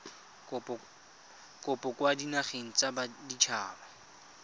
kopo kwa dinageng tsa baditshaba